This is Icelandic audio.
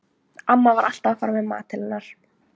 Amma var alltaf að fara með mat til hennar.